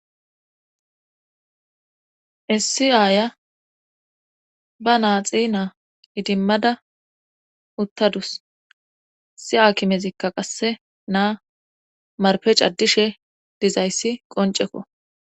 Issi aya be na nlxi naa idimmada uttadus issi akimezikka qasse naa marpe caddishe dizayssi qoncekko